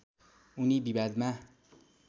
उनी विवादमा